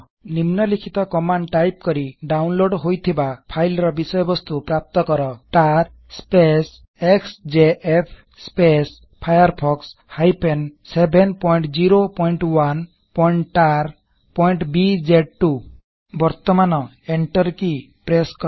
ନିମ୍ନଲିଖିତ command type କରି download ହୋଇଥିବା ଫାଇଲ୍ ର ବିଷୟ ବସ୍ତୁ ପ୍ରାପ୍ତ କରtar ଏକ୍ସଜେଏଫ୍ firefox 701tarବିଜେ2 ବର୍ତମାନ ଏଣ୍ଟର କି ପ୍ରେସ୍ସ୍ କର